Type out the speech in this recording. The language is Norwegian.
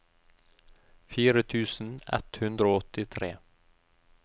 fire tusen ett hundre og åttitre